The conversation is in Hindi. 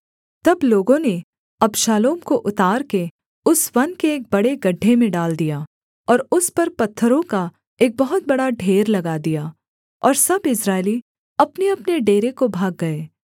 तब लोगों ने अबशालोम को उतार के उस वन के एक बड़े गड्ढे में डाल दिया और उस पर पत्थरों का एक बहुत बड़ा ढेर लगा दिया और सब इस्राएली अपनेअपने डेरे को भाग गए